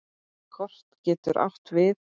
Kot getur átt við